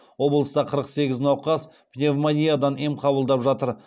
облыста қырық сегіз науқас пневмониядан ем қабылдап жатыр